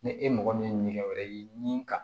Ni e mɔgɔ min ye nɛgɛ wɛrɛ ye ni ka